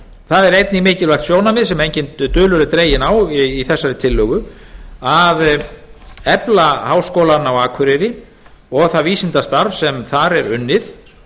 það einnig mikilvægt sjónarmið sem enginn dulur er dreginn á í þessari tillögu að efla háskólann á akureyri og það vísindastarf sem þar er unnið